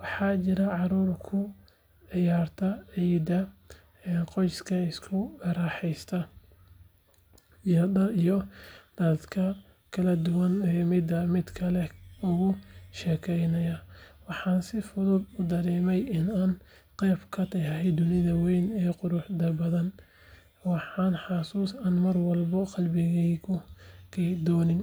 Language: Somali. Waxaa jiray caruur ku ciyaaraya ciidda, qoysas isku raaxeysanaya, iyo dadka kaladuwan oo midba midka kale uga sheekeynaya. Waxaan si fudud u dareemay in aan qayb ka ahay dunidan weyn ee quruxda badan, waana xusuus aan mar walba qalbigayga ku hayn doono.